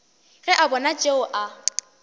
ge a bona tšeo a